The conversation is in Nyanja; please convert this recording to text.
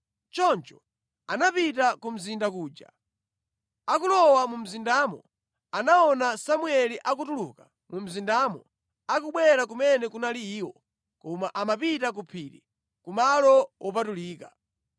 Choncho anapita ku mzinda kuja. Akulowa mu mzindamo, anaona Samueli akutuluka mu mzindamo akubwera kumene kunali iwo, koma amapita ku phiri, ku malo wopatulika.